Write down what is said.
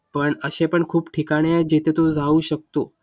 पण असे पण खूप ठिकाणे जिथे तू राहू शकतो.